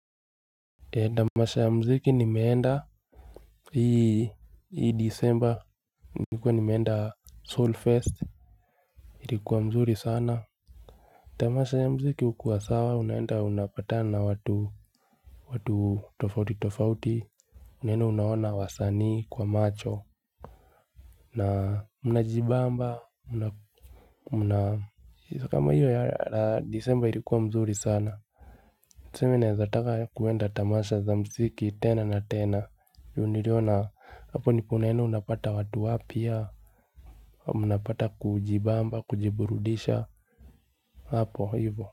Tamasha ya muziki nimeenda hii december nilikuwa nimeenda soul fest ilikuwa mzuri sana. Tamasha ya muziki hukua sawa unaenda unapatana watu tofauti tofauti unaeda unaona wasanii kwa macho. Na mnajibamba kama hiyo ya december ilikuwa mzuri sana tuseme naezataka kwenda tamasha za mziki tena na tena ju niliona hapo ndipo unaenda unapata watu wapya mnapata kujibamba kujiburudisha hapo hivyo.